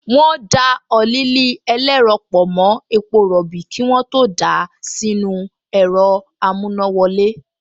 Wọ́n da ọ́ílì ẹlẹ́rọ pọ̀ mọ́ epo rọ̀bì kí wọ́n tó dà á sínú ẹ̀rọ amúnáwọlé